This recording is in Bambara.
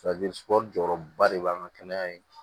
jɔyɔrɔba de b'an ka kɛnɛya in